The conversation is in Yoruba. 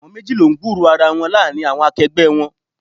Àwọn méjì lọ ń gburo ara wọn láàárín àwọn akẹgbẹ́ wọn.